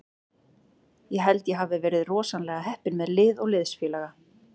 Ég held að ég hafi verið rosalega heppinn með lið og liðsfélaga.